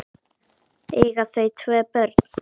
Eiga þau tvö börn.